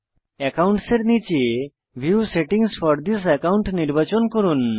accounts এর নীচে view settings for this account নির্বাচন করুন